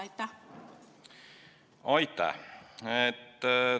Aitäh!